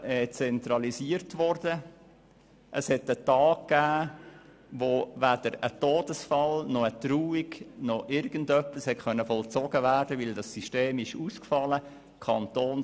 Es gab einen Tag, an dem weder ein Todesfall noch eine Trauung oder irgendetwas anderes vollzogen werden konnte, weil das System kantonsweit ausgefallen war.